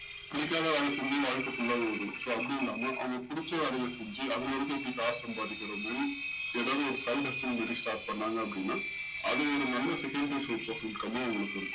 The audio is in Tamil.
புடிக்காத வேல செஞ்சி வாழ்க்க full லா ஓடும் so அப்டி இல்லாம அவங்களுக்கு புடிச்ச வேலைய செஞ்சு அதுல இருந்து எப்டி காசு சம்பதிக்குரோமோ ஏதாவது ஒரு side business மாரி start பண்ணாங்க அப்டின்னா அது ஒரு நல்ல secondary source of income அஹ் அவங்களுக்கு